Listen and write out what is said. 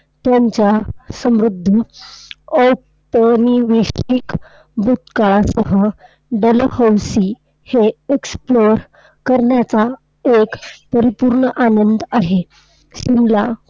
त्यांच्या समृद्ध अतारीविष्टिक भूतकाळासह डलहौसी हे explore करण्याचा एक परिपूर्ण आनंद आहे. शिमला